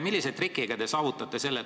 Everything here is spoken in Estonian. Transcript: Millise trikiga te selle tulemi saavutate?